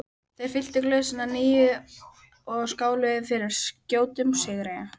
Þeir fylltu glösin að nýju og skáluðu fyrir skjótum sigri.